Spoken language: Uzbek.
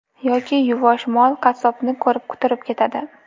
Yoki yuvosh mol qassobni ko‘rib, quturib ketadi.